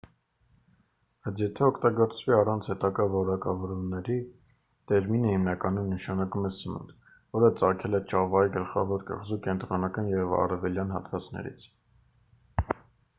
բայց եթե օգտագործվի առանց հետագա որակավորումների տերմինը հիմնականում նշանակում է սնունդ որը ծագել է ճավայի գլխավոր կղզու կենտրոնական և արևելյան հատվածներից